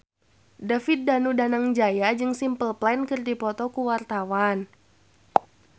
David Danu Danangjaya jeung Simple Plan keur dipoto ku wartawan